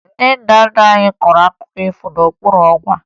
Ndị nna nna anyị kọrọ akụkọ ifo n'okpuru ọnwa